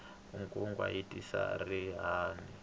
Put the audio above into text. nkungwa wu tisa xirhami